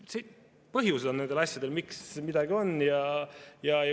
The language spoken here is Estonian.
Nendel asjadel on põhjus, miks midagi nii on.